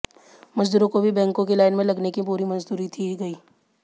मजदूरों को भी बैंकों की लाइन में लगने की पूरी मजदूरी दी गई